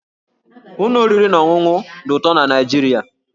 Ụlọ oriri na ọṅụṅụ dị ọtụtụ na Naịjirịa